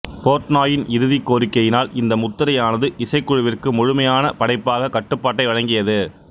போர்ட்னாயின் இறுதிக் கோரிக்கையினால் இந்த முத்திரையானது இசைக்குழுவிற்கு முழுமையான படைப்பாக்க கட்டுப்பாட்டை வழங்கியது